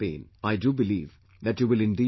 I do believe that you will indeed do so